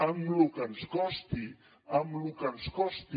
amb lo que ens costi amb lo que ens costi